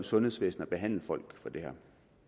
sundhedsvæsenet at behandle folk for det her